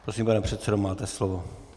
Prosím, pane předsedo, máte slovo.